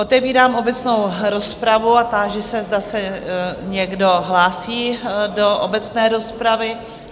Otevírám obecnou rozpravu a táži se, zda se někdo hlásí do obecné rozpravy?